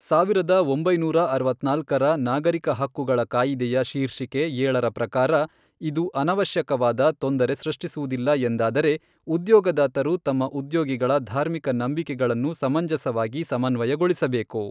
ಸಾವಿರದ ಒಂಬೈನೂರ ಅರವತ್ನಾಲ್ಕರ ನಾಗರಿಕ ಹಕ್ಕುಗಳ ಕಾಯಿದೆಯ ಶೀರ್ಷಿಕೆ ಏಳರ ಪ್ರಕಾರ, ಇದು ಅನಾವಶ್ಯಕವಾದ ತೊಂದರೆ ಸೃಷ್ಟಿಸುವುದಿಲ್ಲ ಎಂದಾದರೆ, ಉದ್ಯೋಗದಾತರು ತಮ್ಮ ಉದ್ಯೋಗಿಗಳ ಧಾರ್ಮಿಕ ನಂಬಿಕೆಗಳನ್ನು ಸಮಂಜಸವಾಗಿ ಸಮನ್ವಯಗೊಳಿಸಬೇಕು.